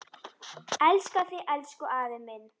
Elska þig, elsku afi minn.